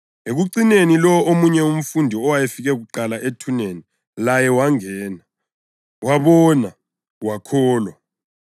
Ekucineni lowo omunye umfundi owayefike kuqala ethuneni laye wangena. Wabona, wakholwa.